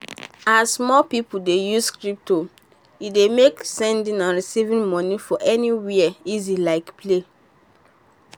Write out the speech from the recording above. as more people dey use crypto e don make sending and receiving money for anywhere easy like play.